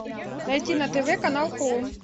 найти на тв канал хоум